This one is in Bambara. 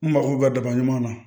N mago bɛ daba ɲuman na